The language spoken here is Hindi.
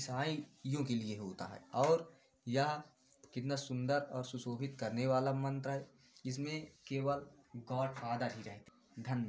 ईसाईयों के लिए होता है और यह कितना सुन्दर और सुशोभित करने वाला मंत्र है। इसमें केवल गॉडफादर ही रहते हैं धन्य --